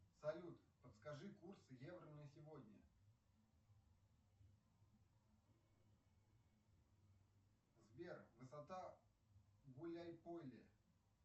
салют подскажи курс евро на сегодня сбер высота гуляй поле